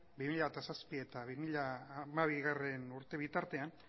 bi mila zazpi eta bi mila hamabigarrena urte bitartean